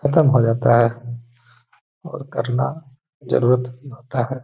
खतम हो जाता है और करना जरूरत होता है।